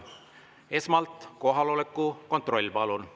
Esmalt kohaloleku kontroll, palun!